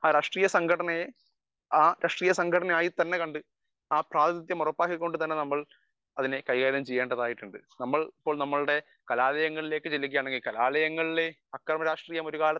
speaker 1 രാഷ്ട്രീയ സംഘടനയെ രാഷ്ട്രീയ സംഘടന തന്നെ ആയിക്കണ്ടു നമ്മൾ അതിനെ കൈകാര്യം ചെയ്യേണ്ടതായിട്ടുണ്ട് നമ്മൾ ഇപ്പോൾ നമ്മയുടെ കലാലയങ്ങളിലേക്ക് ചെല്ലുകയാണെങ്കിൽ കലാലയങ്ങളിൽ ഒരു കാലത്തു അക്രമ രാഷ്ട്രീയം